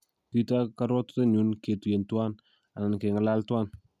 Kito korwotitenyun ketuyen tuan, alan keng'alal tuan